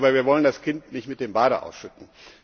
Aber wir wollen das Kind nicht mit dem Bade ausschütten.